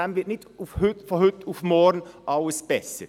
Damit wird nicht von heute auf morgen alles besser.